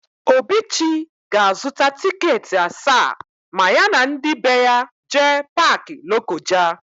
Obichi ga-azụta tịketị asaa ma ya na ndị be ya jee Paakị Lokoja.